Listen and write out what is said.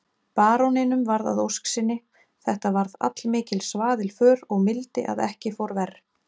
Baróninum varð að ósk sinni, þetta varð allmikil svaðilför og mildi að ekki fór verr.